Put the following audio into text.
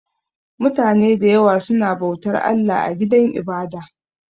Mutane da yawa suna bautar Allah a gidan ibada